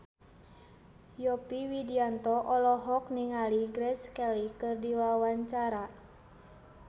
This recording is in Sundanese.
Yovie Widianto olohok ningali Grace Kelly keur diwawancara